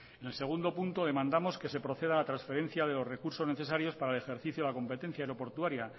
en segundo punto demandamos que se proceda a la transferencia de los recursos necesarios para el ejercicio de la competencia aeroportuaria